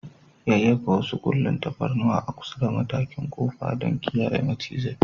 Yayyafa wasu ƙullun tafarnuwa a kusa da matakin ƙofar don kiyaye macizai.